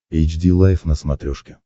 эйч ди лайф на смотрешке